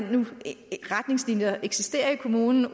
retningslinjer der eksisterer i kommunen